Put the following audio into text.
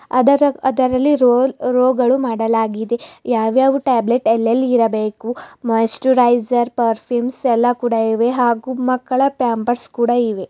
ಅದರ ಅದರಲ್ಲಿರುವ row row ಗಳು ಮಾಡಲಾಗಿದೆ ಯಾವ್ ಯಾವ್ ಟ್ಯಾಬ್ಲೆಟ್ ಎಲ್ಲೆಲ್ಲಿ ಇರಬೇಕು ಮಾಯಿಶ್ಚರೈಸರ್ ಪರ್ಫ್ಯೂಮ್ಸ್ ಎಲ್ಲಾ ಕೂಡ ಇವೆ ಹಾಗು ಮಕ್ಕಳ ಪ್ಯಾಂಪರ್ಸ್ ಕೂಡ ಇವೆ.